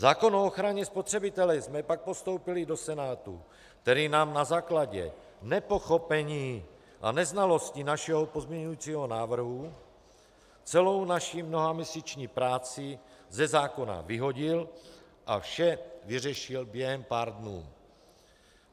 Zákon o ochraně spotřebitele jsme pak postoupili do Senátu, který nám na základě nepochopení a neznalosti našeho pozměňovacího návrhu celou naši mnohaměsíční práci ze zákona vyhodil a vše vyřešil během pár dnů.